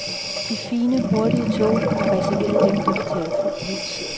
De fine, hurtige tog er reserveret dem, der betaler fuld pris.